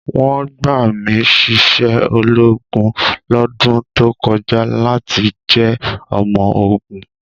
Wọ́n gbà mí síṣẹ́ ológun lọ́dún tó kọjá láti jẹ́ ọmọ ogun.